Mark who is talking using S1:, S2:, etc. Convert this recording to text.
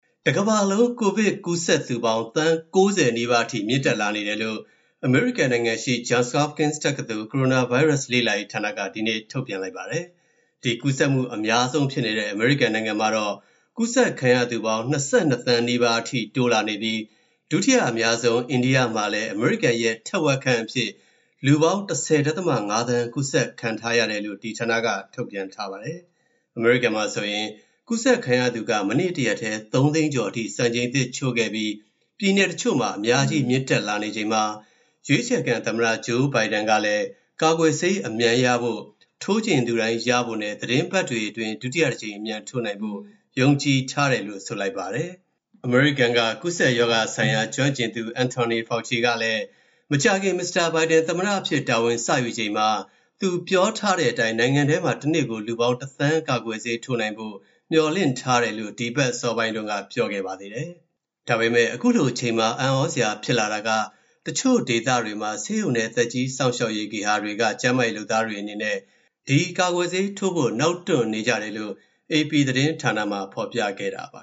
S1: တကမ္ဘာလုံး ကိုဗစ်ပိုးကူးစက်သူပေါင်း သန်း ၉၀ နီးပါးအထိ မြင့်တက်လာနေတယ်လို့ အမေရိကန်နိုင်ငံရှိ Johns Hopkins တက္ကသိုလ် ကိုရိုနာဗိုင်းရပ်စ် လေ့လာရေးဌာနက ဒီနေ့ ထုတ်ပြန်လိုက်ပါတယ်။ ဒီကူးစက်မှု အများဆုံးဖြစ်နေတဲ့ အမေရိကန်နိုင်ငံမှာတော့ ကူးစက်ခံရသူပေါင်း ၂၂ သန်းနီးပါးအထိ တိုးလာနေပြီး ဒုတိယအများဆုံး အိန္ဒိယမှာလည်း အမေရိကန်ရဲ့ ထက်ဝက်ခန့်အဖြစ် လူပေါင်း ၁၀.၅ သန်း ကူးစက်ခံထားရတယ်လို့ ဒီဌာနက ထုတ်ပြန်ထားပါတယ်။ အမေရိကန်မှာဆိုရင် ကူးစက်ခံရသူက မနေ့တရက်တည်း ၃ သိန်းကျော်အထိ စံချိန်သစ်ချိုးခဲ့ပြီး ပြည်နယ်တချို့မှာ အများကြီး မြင့်တက်လာနေချိန်မှာ ရွေးချယ်ခံသမ္မတ Joe Biden ကလည်း ကာကွယ်ဆေးအမြန်ရဖို့၊ ထိုးချင်သူတိုင်းရဖို့နဲ့ သီတင်းပတ်တွေအတွင်း ဒုတိယတကြိမ် အမြန်ထိုးနိုင်ဖို့ ယုံကြည်ထားတယ်လို့ ဆိုလိုက်ပါတယ်။ အမေရိကန်က ကူးစက်ရောဂါဆိုင်ရာ ကျွမ်းကျင်သူ Anthony Fauci ကလည်း မကြာခင် Mr. Biden သမ္မတအဖြစ် တာဝန်စယူချိန်မှာ သူပြောထားတဲ့အတိုင်း နိုင်ငံထဲမှာ တနေ့ကို လူပေါင်းတသန်း ကာကွယ်ဆေးထိုးနိုင်ဖို့ မျှော်လင့်ထားတယ်လို့ ဒီအပတ်အစောပိုင်းတုန်းက ပြောခဲ့ပါသေးတယ်။ ဒါပေမယ့် အခုလိုအချိန်မှာ အံ့သြစရာဖြစ်လာတာက တချို့ဒေသတွေမှာ ဆေးရုံနဲ့ သက်ကြီးစောင့်ရှောက်ရေး ဂေဟာတွေက ကျန်းမာရေးလုပ်သားတွေအနေနဲ့ ဒီကာကွယ်ဆေးထိုးဖို့ နောက်တွန့်နေကြတယ်လို့ AP သတင်းဌာနမှာ ဖော်ပြခဲ့တာပါ